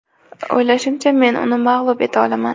O‘ylashimcha, men uni mag‘lub eta olaman.